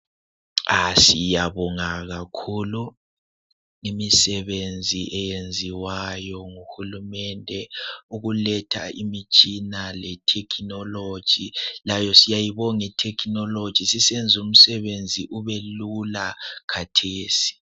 Siyabonga kakhulu imisebenzi eyenziwayo nguhulumende ukuletha imitshina le technology, layo siyayibonga I technology sisemza umsebenzi ubelula khathesi.